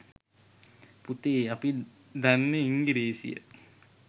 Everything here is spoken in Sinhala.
පුතේ අපි දන්න ඉංගිරීසිය